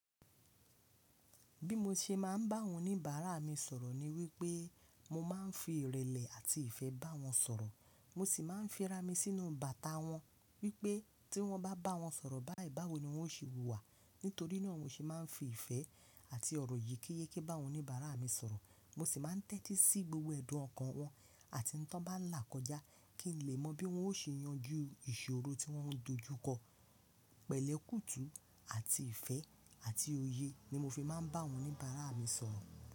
Bí mo ṣe máa ń bá awọn oníbàárà mi sọ̀rọ̀ ni wípé mo máa ń fi ìrẹ̀lẹ̀ àti ìfẹ́ bá wọn sọ̀rọ̀. Mo sì máa ń fi ra mi sínú bàtà wọn wípé tí wọ́n bá bá wọn sọ̀rọ̀ báyii bá wọ́ ni wọ́n ó ṣe wùwà. Nítorí náà mo ṣe máa ń fi ìfẹ́ àti ọ̀rọ̀ yekíyékí bá wọn oníbàárà mi sọ̀rọ̀. Mo sì máa ń tẹ́tí sí gbogbo ẹ̀dùn ọkàn wọn àti tí wọ́n bá là kọjá kí n lè mọ bí wọ́n ó ṣe yanjú ìṣòro tí wọ́n ń dojú kọ. Pẹ̀lẹ́ kùtù àti ìfẹ́ àti òye ni mo fi máa ń bá awọn oníbàárà mi sọ̀rọ̀.